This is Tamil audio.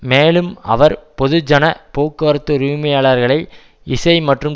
மேலும் அவர் பொதுஜன போக்குவரத்து உரிமையாளர்களை இசை மற்றும்